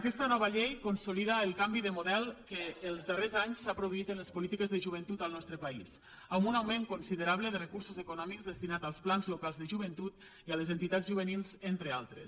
aquesta nova llei consolida el canvi de model que els darrers anys s’ha produït en les polítiques de joventut al nostre país amb un augment considerable de recursos econòmics destinats als plans locals de joventut i a les entitats juvenils entre altres